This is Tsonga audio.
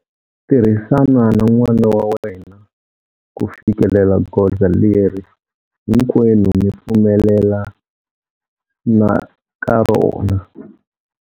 Tirhisana na n'wana wa wena ku fikelela goza leri hinkwenu mi pfumelelanaka rona.